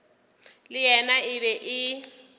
le yena e be e